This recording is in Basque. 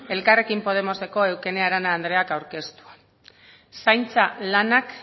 elkarrekin podemoseko eukene arana andreak aurkeztua zaintza lanak